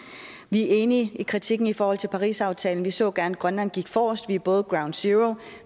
er enige i kritikken i forhold til parisaftalen vi så gerne at grønland gik forrest vi er både ground zero